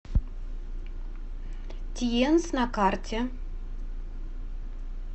тиенс на карте